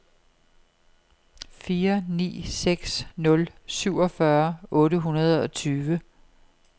fire ni seks nul syvogfyrre otte hundrede og tyve